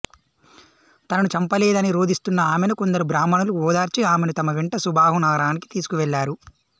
తనను చంపలేదని రోదిస్తున్న ఆమెను కొందరు బ్రాహ్మణులు ఓదార్చి ఆమెను తమ వెంట సుబాహు నగరానికి తీసుకు వెళ్ళారు